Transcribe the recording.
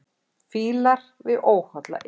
Fílar við óholla iðju.